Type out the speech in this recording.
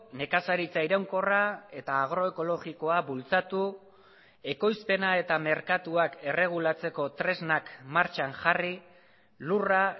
nekazaritza iraunkorra eta agroekologikoa bultzatu ekoizpena eta merkatuak erregulatzeko tresnak martxan jarri lurra